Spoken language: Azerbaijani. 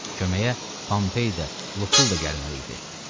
Köməyə Pompey də, Lukul da gəlməli idi.